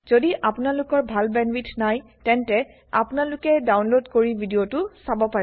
যদি আপোনালোকৰ ভাল বেন্দৱাইথ নাই তেন্তে আপোনালোকে ডাউনলোদ কৰি ভিডিও টো চাব পাৰে